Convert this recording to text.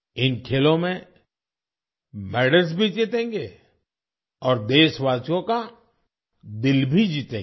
इन खेलों में मेडल्स भी जीतेंगे और देशवासियों का दिल भी जीतेंगे